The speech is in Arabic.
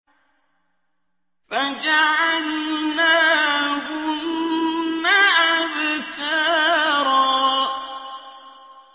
فَجَعَلْنَاهُنَّ أَبْكَارًا